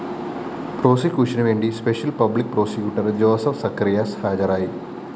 പ്രോസിക്യൂഷനുവേണ്ടി special public prosecutor Joseph Zacharias ഹാജരായി